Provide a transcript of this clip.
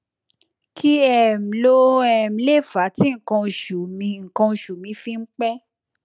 kí um ló um lè fà á tí nǹkan oṣù mi nǹkan oṣù mi fi ń pẹ